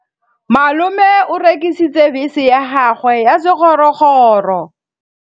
Malome o rekisitse bese ya gagwe ya sekgorokgoro.